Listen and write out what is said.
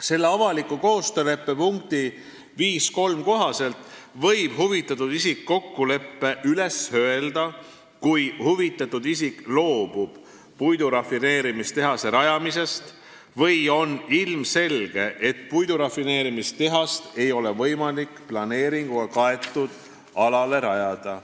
Selle avaliku koostööleppe punkti 5.3 kohaselt võib huvitatud isik kokkuleppe üles öelda, kui ta loobub puidurafineerimistehase rajamisest või on ilmselge, et puidurafineerimistehast ei ole võimalik planeeringuga kaetud alale rajada.